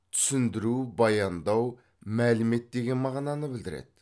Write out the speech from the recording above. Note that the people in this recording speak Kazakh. түсіндіру баяндау мәлімет деген мағынаны білдіреді